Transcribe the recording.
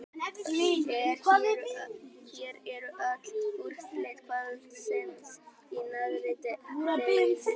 Hér eru öll úrslit kvöldsins í neðri deildum: